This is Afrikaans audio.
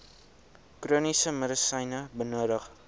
chroniese medisyne benodig